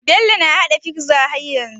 Bello na hada pizza har yanzu